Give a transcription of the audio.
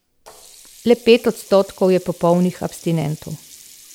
Le pet odstotkov je popolnih abstinentov.